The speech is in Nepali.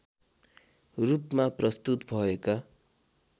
रूपमा प्रस्तुत भएका